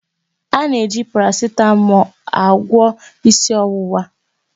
Ana eji parasitamọlu agwọ ịsị ọwụwa.